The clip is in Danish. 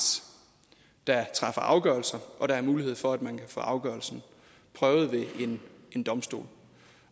der træffer afgørelser og at der er mulighed for at man kan få afgørelsen prøvet ved en domstol